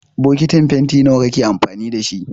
Bokitin fenti nawa kake amfani da shi?